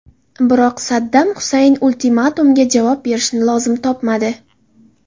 Biroq Saddam Husayn ultimatumga javob berishni lozim topmadi.